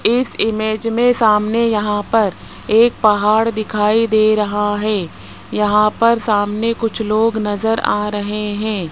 इस इमेज में सामने यहां पर एक पहाड़ दिखाई दे रहा है यहां पर सामने कुछ लोग नजर आ रहे हैं।